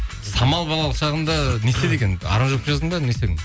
самал балалық шағында не істеді екен аранжировка жаздың ба не істедің